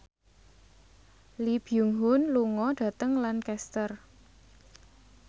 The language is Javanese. Lee Byung Hun lunga dhateng Lancaster